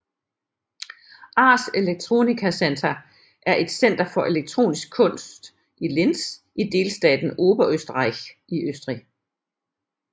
Ars Electronica Center er et center for elektronisk kunst i Linz i delstaten Oberösterreich i Østrig